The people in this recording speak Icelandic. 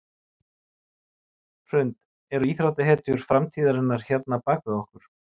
Hrund: Eru íþróttahetjur framtíðarinnar hérna bak við okkur?